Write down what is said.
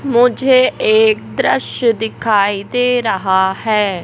मुझे एक दृश्य दिखाई दे रहा है।